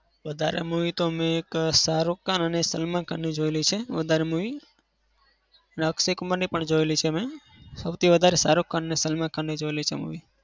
વધારે movie તો મેં એક સાહરુખખાન અને સલામખાનની જોયેલી છે વધારે movie અને અક્ષયકુમારની પણ જોયેલી છે. સૌથી વધારે સાહરુખખાન અને સલામખાનની જોયેલી છે movie